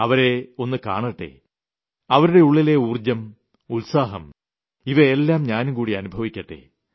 അവരെയൊന്ന് കാണട്ടെ അവരുടെ ഉളളിലെ ഊർജ്ജം ഉത്സാഹം ഇവയെല്ലാം ഞാനും കൂടി അനുഭവിക്കട്ടെ